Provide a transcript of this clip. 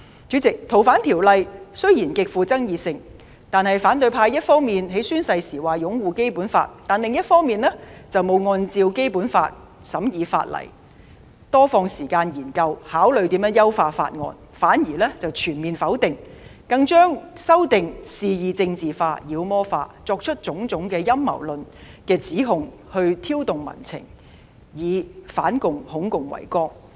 主席，雖然《逃犯條例》的修訂極富爭議，但反對派一方面在宣誓時表示擁護《基本法》，另一方面卻未有按《基本法》審議法例，多花時間研究和考慮如何優化法案，反而全面否定，更將修訂肆意政治化、妖魔化，作出種種陰謀論的指控，藉以挑動民情，以反共、恐共為綱。